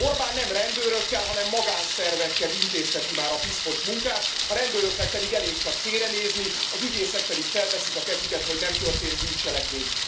Orbán nem rendőrökkel, hanem magánszervekkel intézteti már a piszkos munkát, a rendőröknek pedig elég csak félrenézni, az ügyészek pedig felteszik a kezüket, hogy nem történt bűncselekmény.